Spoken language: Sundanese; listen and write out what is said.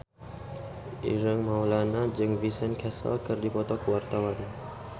Ireng Maulana jeung Vincent Cassel keur dipoto ku wartawan